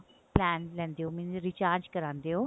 plan ਲੈਂਦੇ ਹੋ means recharge ਕਰਵਾਉਂਦੇ ਹੋ